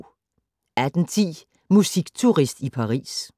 18:10: Musikturist i Paris